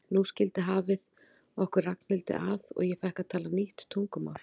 Nú skildi hafið okkur Ragnhildi að og ég fékk að tala nýtt tungumál.